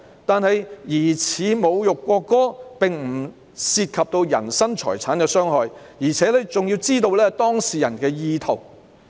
可是，疑似侮辱國歌並不涉及人身財產的傷害，而且要知道當事人的意圖。